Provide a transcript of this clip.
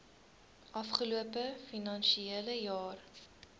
afgelope finansiële jaar